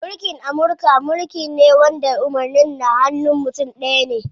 Mulkin Amurka mulki ne wanda umarnin na hanun mutum ɗaya ne.